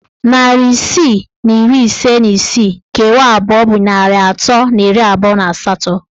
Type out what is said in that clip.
Narị isii na iri ise na isii kewaa abụọ bụ narị atọ na iri abụọ na asatọ.